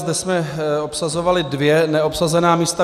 Zde se obsazovala dvě neobsazená místa.